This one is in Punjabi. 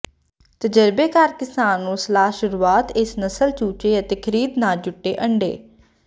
ਤਜਰਬੇਕਾਰ ਕਿਸਾਨ ਨੂੰ ਸਲਾਹ ਸ਼ੁਰੂਆਤ ਇਸ ਨਸਲ ਚੂਚੇ ਅਤੇ ਖ਼ਰੀਦ ਨਾ ਜੁਟੇ ਅੰਡੇ